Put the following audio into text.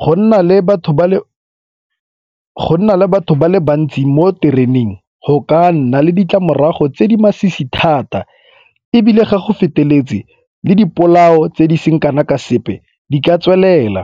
Go nna le batho ba le bantsi mo tereneng go ka nna le ditlamorago tse di masisi thata ebile ga go feteletse le le di polao tse di seng kana ka sepe di ka tswelela.